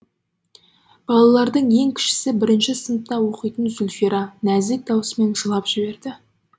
балалардың ең кішісі бірінші сыныпта оқитын зульфира нәзік дауысымен жылап жіберді